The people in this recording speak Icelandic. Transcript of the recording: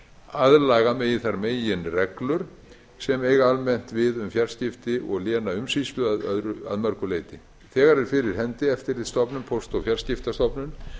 aðlaga megi þær meginreglur sem eiga almennt við um fjarskipti að lénaumsýslu að mörgu leyti þegar er fyrir hendi eftirlitsstofnun póst og fjarskiptastofnun